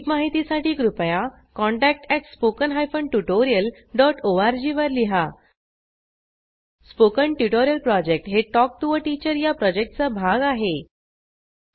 अधिक माहितीसाठी कृपया contact at spoken hyphen tutorial dot ORG वर लिहा स्पोकन ट्युटोरियल प्रॉजेक्ट हे टॉक टू टीचर या प्रॉजेक्टचा भाग आहे